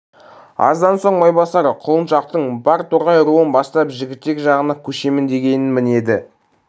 аздан соң майбасар құлыншақтың бар торғай руын бастап жігітек жағына көшемін дегенін мінеді